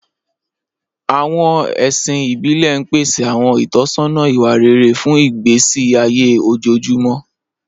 Àwọn ẹ̀sìn ìbílẹ̀ ń pèsè àwọn ìtọ́sọ́nà ìwà rere fún ìgbésí ayé ojoojúmọ́.